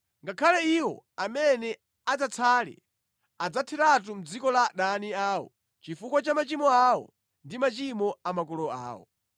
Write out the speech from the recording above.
Ngakhale iwo amene adzatsale adzatheratu mʼdziko la adani awo chifukwa cha machimo awo ndi machimo a makolo awo.